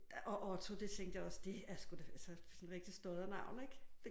Og og Tore det tænkte jeg også det er sgu da altså sådan et rigtigt stoddernavn ik